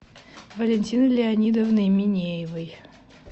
валентины леонидовны минеевой